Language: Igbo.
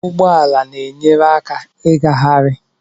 Ụgbọ ala na-enyere aka ngagharị.